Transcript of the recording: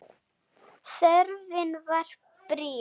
Þörfin var brýn.